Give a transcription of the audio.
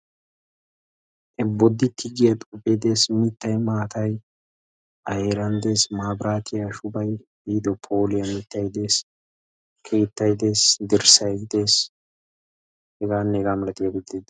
Boditti giya xuufe des, mittay maata a heeran des. Maabiratiya shubay miido phooliya mittay, keettay des, dirssay des heganne hega malatiyaababti doosona.